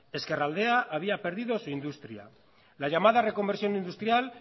ezkerraldea había perdido su industria la llamada reconversión industrial